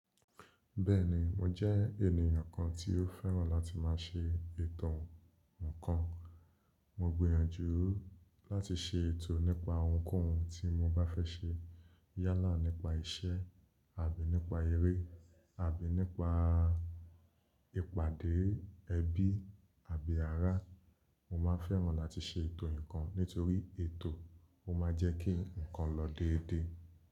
Bẹ́ẹ̀ni mo jẹ́ ènìyàn kan tí ó fẹ́ràn láti má a ṣe ètò ǹkan. Mo gbìyànjú láti ṣe ètò nípa ohunkóhun tí mo bá fẹ́ ṣe yálà nípa iṣẹ́ àbí nípa eré àbí nípa ìpàdé ẹbí àbí ará. Mo má a fẹ́ràn láti ṣe ètò nǹkan nítorí ètò ó má a jẹ́ kí nǹkan lọ dédé.